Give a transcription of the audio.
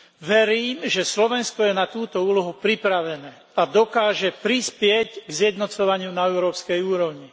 Verím, že Slovensko je na túto úlohu pripravené a dokáže prispieť k zjednocovaniu na európskej úrovni.